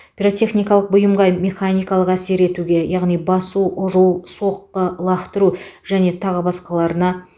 пиротехникалық бұйымға механикалық әсер етуге яғни басу ұру соққы лақтыру және тағы басқаларына